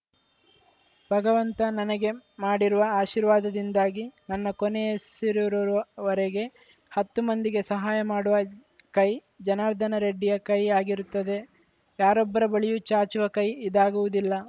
ಭಗವಂತ ನನಗೆ ಮಾಡಿರುವ ಆಶೀರ್ವಾದದಿಂದಾಗಿ ನನ್ನ ಕೊನೆಯುಸಿರಿರುವರೆಗೆ ಹತ್ತು ಮಂದಿಗೆ ಸಹಾಯ ಮಾಡುವ ಕೈ ಜನಾರ್ದನ ರೆಡ್ಡಿಯ ಕೈ ಆಗಿರುತ್ತದೆ ಯಾರೊಬ್ಬರ ಬಳಿಯೂ ಚಾಚುವ ಕೈ ಇದಾಗುವುದಿಲ್ಲ